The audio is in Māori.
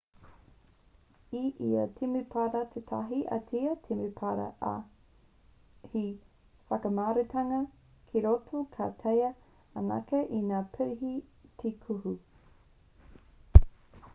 i ia temepara tētahi ātea temepara ā he whakamaurutanga ki roto ka taea anake e ngā pirihi te kuhu